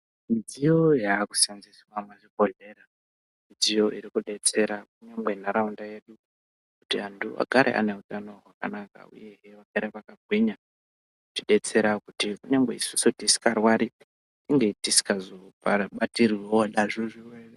Midziyo yakuseenzeswa muzvibhedhlera, midziyo iri kudetsera kunyangwe nharaunda yedu kuti antu agare ane utano hwakanaka uyehe vagare vakagwinya, irikutidetsera kuti kunyange isusu tisikarwari tinge tisingazobatirwiwo nazvo zvirwere.